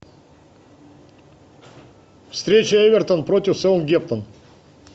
встреча эвертон против саутгемптон